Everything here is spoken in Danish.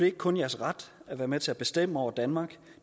ikke kun jeres ret at være med til at bestemme over danmark